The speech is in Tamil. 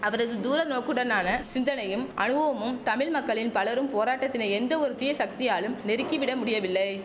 அவரது தூர நோக்குடனான சிந்தனையும் அனுவவமும் தமிழ் மக்களின் பலரும் போராட்டத்தினை எந்த ஒரு தீய சக்தியாலும் நெருக்கி விட முடியவில்லை